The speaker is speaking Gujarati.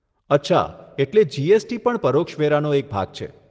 અચ્છા, એટલે જીએસટી પણ પરોક્ષ વેરાનો એક ભાગ છે.